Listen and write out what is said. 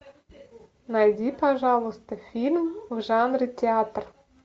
найди пожалуйста фильм в жанре театр